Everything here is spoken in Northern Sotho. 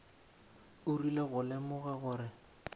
o rile go lemoga gore